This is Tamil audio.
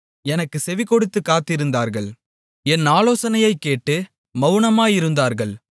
எனக்குச் செவிகொடுத்துக் காத்திருந்தார்கள் என் ஆலோசனையைக் கேட்டு மவுனமாயிருந்தார்கள்